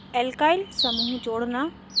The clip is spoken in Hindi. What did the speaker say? alkyl alkyl समूह जोड़ना